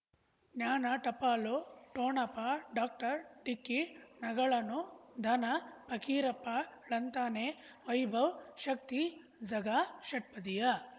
ಜ್ಞಾನ ಟಪಾಲು ಠೋಣಪ ಡಾಕ್ಟರ್ ಢಿಕ್ಕಿ ಣಗಳನು ಧನ ಫಕೀರಪ್ಪ ಳಂತಾನೆ ವೈಭವ್ ಶಕ್ತಿ ಝಗಾ ಷಟ್ಪದಿಯ